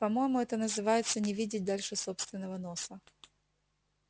по-моему это называется не видеть дальше собственного носа